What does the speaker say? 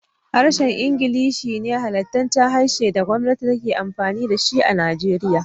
Harshen Ingilishi ne halattaccen harshen da gwamati take amfini da shi a Nigeria.